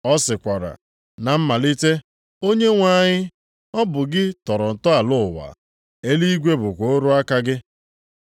Ọ sịkwara, “Na mmalite, Onyenwe anyị, ọ bụ gị tọrọ ntọala ụwa, eluigwe bụkwa ọrụ aka gị.